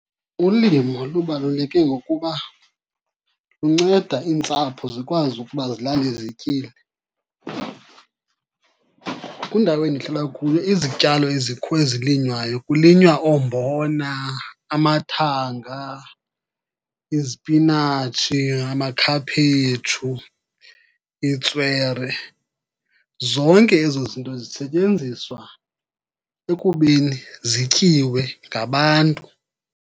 Ulimo lubaluleke ngokuba lunceda iintsapho zikwazi ukuba zilale zityile. Kwindawo endihlala kuyo izityalo ezilinywayo, kulinywa oombona, amathanga, izipinatshi, amakhaphetshu, itswere. Zonke ezo zinto zisetyenziswa ekubeni zityiwe ngabantu.